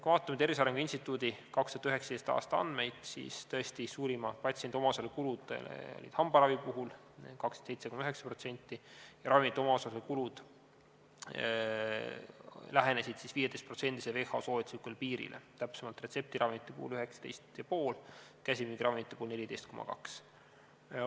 " Kui me vaatame Tervise Arengu Instituudi 2019. aasta andmeid, siis tõesti, suurima patsiendi omaosaluse kulud olid hambaravi puhul – 27,9% – ning ravimite omaosaluse kulud lähenesid 15%-sele WHO soovituslikule piirile, täpsemalt retseptiravimite puhul 19,5% ja käsimüügiravimite puhul 14,2%.